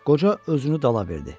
Qoca özünü dala verdi.